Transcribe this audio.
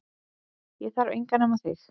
Ég þarf engan nema þig